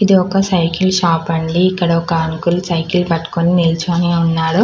ఇది ఒక cycle shop అండి ఇక్కడ ఒక అంకుల్ సైకిల్ పట్టుకుని నిలిచియున్నాడు